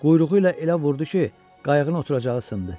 Quyruğu ilə elə vurdu ki, qayığın oturacağı sındı.